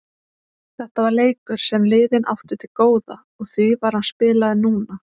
Þetta var leikur sem liðin áttu til góða og því var hann spilaður núna.